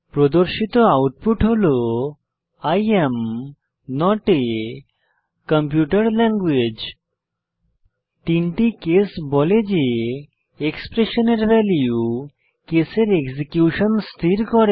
প্রদর্শিত আউটপুট হল I am not a computer language 3 টি কেস বলে যে এক্সপ্রেশনের ভ্যালু কেসের এক্সিকিউশন স্থির করে